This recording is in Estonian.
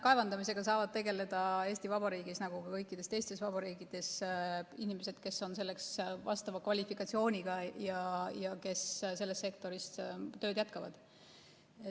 Kaevandamisega saavad tegeleda Eesti Vabariigis nagu ka kõikides teistes vabariikides inimesed, kes on selleks vastava kvalifikatsiooniga ja kes selles sektoris tööd jätkavad.